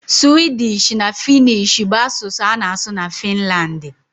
Suwịdịsh na Fịnnịsh bụ asụsụ a na-asụ na Finlandi.